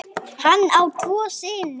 Hann á tvo syni.